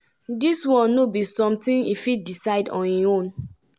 "dis no be sometin e fit decide on im own."